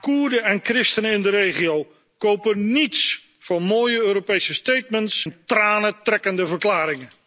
Koerden en christenen in de regio kopen niets voor mooie Europese en tranentrekkende verklaringen.